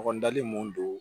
Ɲɔgɔn dali mun don